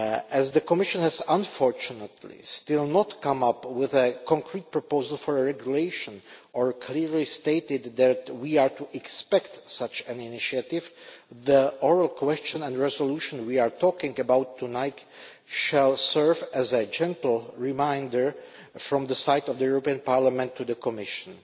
As the Commission has, unfortunately, still not come up with a concrete proposal for a regulation, or clearly stated that we are to expect such an initiative, the oral question and resolution we are talking about tonight shall serve as a gentle reminder from Parliament to the Commission.